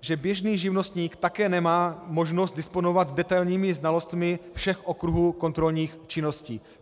že běžný živnostník také nemá možnost disponovat detailními znalostmi všech okruhů kontrolních činností.